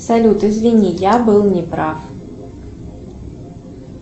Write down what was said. салют извини я был не прав